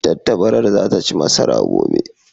Tattabarar za ta ci masara gobe.